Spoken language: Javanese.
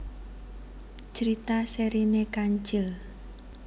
Crita serine Kancil